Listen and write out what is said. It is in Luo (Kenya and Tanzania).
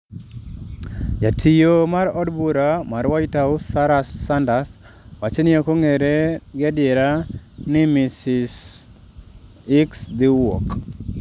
Jatiyo mar od bura mar White House, Sarah Sanders, wacho ni ok ong'ere ga adier ni Ms. Hicks dhiwuok.